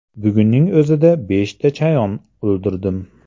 Bugunning o‘zida beshta chayon o‘ldirdim.